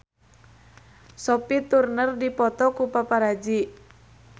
Sophie Turner dipoto ku paparazi